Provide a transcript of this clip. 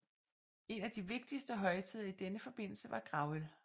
En af de vigtigste højtider i denne forbindelse var gravøl